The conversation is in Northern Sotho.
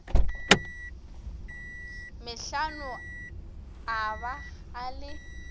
metlhano a ba a le